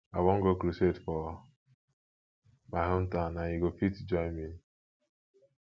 i wan go crusade for my hometown and you go fit join me